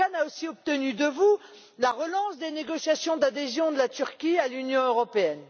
Erdogan a aussi obtenu de vous la relance des négociations d'adhésion de la Turquie à l'Union européenne.